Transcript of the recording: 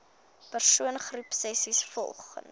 persoon groepsessies volgens